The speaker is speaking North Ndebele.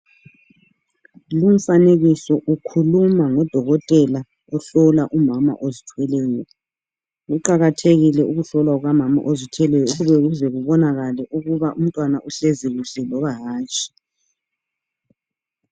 Lumfanekiso ukhuluma ngodokotela ohlola umama ozithweleyo. Kuqakathekile ukuhlolwa kukamama ozithweleyo ukuze kubonakale ukuba umntwana uhlezi kuhle loba hatshi.